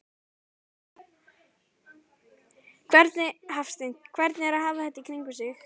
Hafsteinn: Hvernig er að hafa þetta í kringum sig?